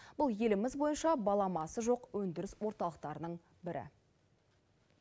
бұл еліміз бойынша баламасы жоқ өндіріс орталықтарының бірі